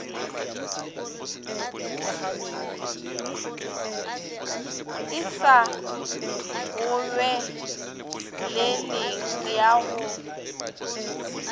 e sa gobeleleng ya go